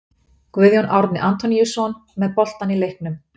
Guðjón Árni Antoníusson með boltann í leiknum.